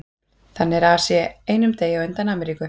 Þannig er Asía einum degi á undan Ameríku.